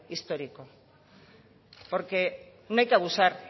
histórico porque no hay que abusar